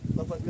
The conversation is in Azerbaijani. Qabağa gəl.